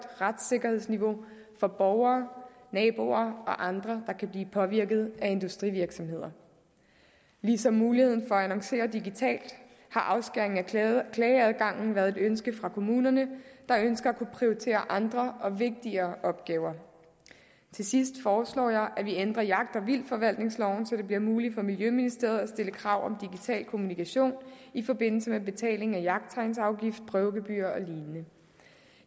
retssikkerhedsniveau for borgere naboer og andre der kan blive påvirket af industrivirksomheder ligesom muligheden for at annoncere digitalt har afskæringen af klageadgangen været et ønske fra kommunerne der ønsker at kunne prioritere andre og vigtigere opgaver til sidst foreslår jeg at vi ændrer jagt og vildtforvaltningsloven så det bliver muligt for miljøministeriet at stille krav om digital kommunikation i forbindelse med betaling af jagttegnsafgift prøvegebyrer og lignende